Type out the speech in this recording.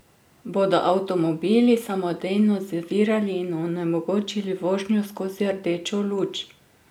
Bodo avtomobili samodejno zavirali in onemogočili vožnjo skozi rdečo luč?